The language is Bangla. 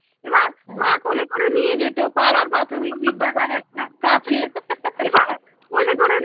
এবার মা কোলে করে নিয়ে যেত পাড়ার একটা কাছে এবার কোলে করে